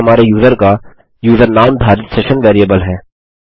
यह हमारे यूजर का यूजर नाम धारित सेशन वेरिएबल है